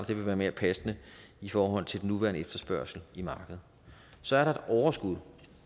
det vil være mere passende i forhold til den nuværende efterspørgsel i markedet så er der et overskud